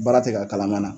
Baara tɛ ka kalama